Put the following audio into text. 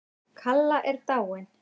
Kalla er dáin.